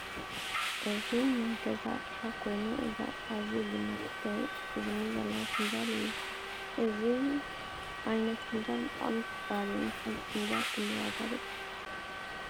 እዚ ናይ ገዛ ኣቅሓ ኮይኑ እዚ ኣቅሓ እዚ ቡና መስተይ እዝኒ ዘለዎ ፍንጃል እዩ::እዚ ዓይነት ፍንጃል በጣዕሚ ክባር እዩ:: ንሓንቲ ፈንጃል ክንዳይ ዋጋ በፂሑ ?